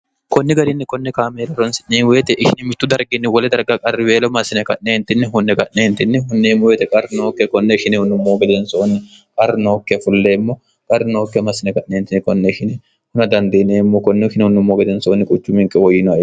konni garinni konne kaameela ronsi'nyeemu woyite ikhini mittu dargiinni wole darga qarriweelo masine ka'neentinni hunne ga'neentinni hunneemmo weyite qar nookke konne shinehunummoo gedensoonni qar nookke fulleemmo qar nookke masine ka'neentinn konne shine huna dandiineemmo konne kinehunnummoo gedensoonni quchu minke woyyinoe